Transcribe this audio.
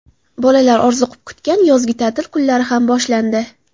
Bolalar orziqib kutgan yozgi ta’til kunlari ham boshlandi.